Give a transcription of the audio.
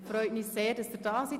Es freut mich, dass Sie da sind.